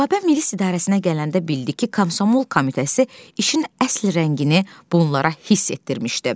Rübabə milis idarəsinə gələndə bildi ki, Komsomol komitəsi işin əsl rəngini bunlara hiss etdirmişdi.